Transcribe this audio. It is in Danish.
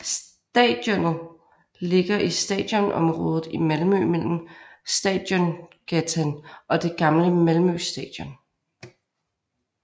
Stadionet ligger i Stadionområdet i Malmø mellem Stadiongatan og det gamle Malmö Stadion